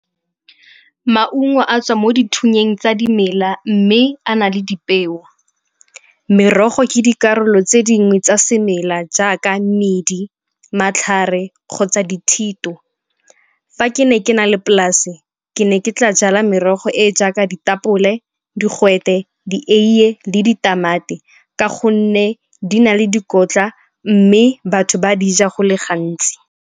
Maungo a tswa mo dithunyeng tsa dimela mme a na le dipeo. Merogo ke dikarolo tse dingwe tsa semela jaaka medi, matlhare kgotsa dithito. Fa ke ne ke na le polase ke ne ke tla jala merogo e e jaaka ditapole, digwete, dieiye le ditamati ka gonne di na le dikotla mme batho ba di ja go le gantsi.